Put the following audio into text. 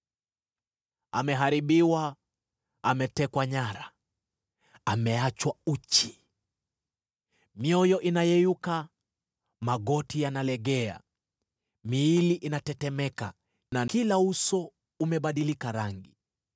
Ameharibiwa, ametekwa nyara, ameachwa uchi! Mioyo inayeyuka, magoti yanalegea, miili inatetemeka, na kila uso umebadilika rangi.